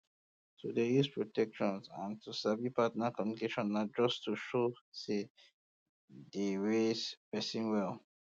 to dey use protection and to sabi partner communication na just to show say dey raise person well